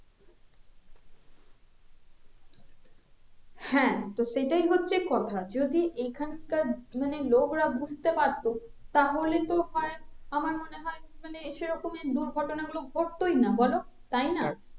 হ্যাঁ তো সেটাই হচ্ছে কথা যদি এইখানকার মানে লোকরা বুঝতে পারতো তাহলে বোধয় আমার মনে হয়ে মানে সেরকমের দুর্ঘটনা গুলো ঘটতোই না বলো তাই না?